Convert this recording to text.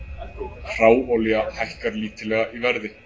Hráolía hækkar lítillega í verði